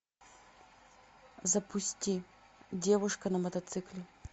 запусти девушка на мотоцикле